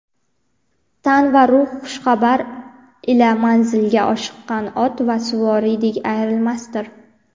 Tan va ruh xushxabar ila manzilga oshiqqan ot va suvoriydek ayrilmasdir.